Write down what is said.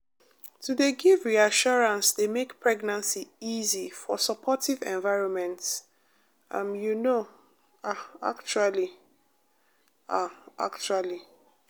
to dey give reassurance dey make pregnancy easy for supportive environments um you know ah actually ah actually